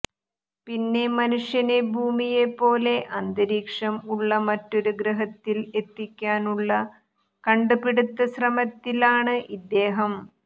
പിന്നെ മനുഷ്യനെ ഭൂമിയെ പോലെ അന്തരീക്ഷം ഉള്ള മറ്റൊരു ഗ്രഹത്തിൽ എത്തിക്കാനുള്ള കണ്ട് പിടിത്ത ശ്രമത്തിൽ ആണ് ഇദ്ദേഹം